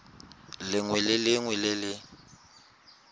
lengwe le lengwe le le